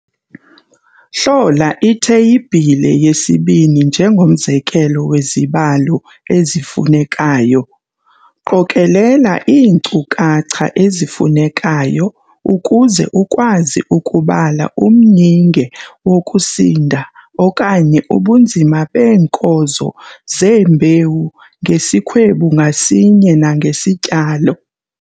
Hlola iTheyibhile yesi-2 njengomzekelo wezibalo ezifunekayo. Qokelela iinkcukacha ezifunekayo ukuze ukwazi ukubala umyinge wokusinda okanye ubunzima beenkozo zeembewu ngesikhwebu ngasinye nangesityalo.